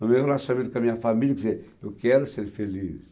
No meu relacionamento com a minha família, quer dizer, eu quero ser feliz.